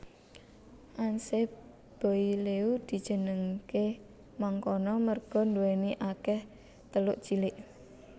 Anse Boileau dijenengké mangkono merga nduwèni akèh teluk cilik